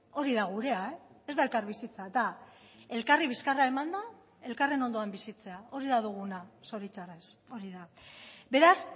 hori da gurea e ez da elkarbizitza da elkarri bizkarra emanda elkarren ondoan bizitzea hori da duguna zoritxarrez hori da beraz